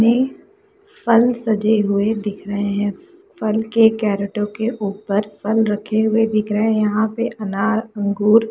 में फल सजे हुए दिख रहे है फल के कैरोटो के ऊपर फल रखे हुए दिख रहे है यहाँ पे अनार अंगूर है।